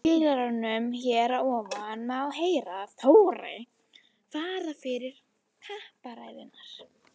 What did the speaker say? Í spilaranum hér að ofan má heyra Þóri fara fyrir kappræðurnar.